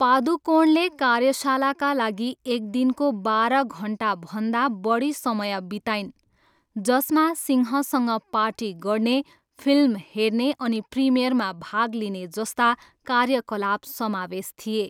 पादुकोणले कार्यशालाका लागि एक दिनको बाह्र घन्टाभन्दा बढी समय बिताइन्, जसमा सिंहसँग पार्टी गर्ने, फिल्म हेर्ने अनि प्रिमियरमा भाग लिने जस्ता कार्यकलाप समावेश थिए।